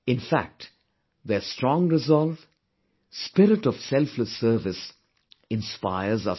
In fact, their strong resolve, spirit of selfless service, inspires us all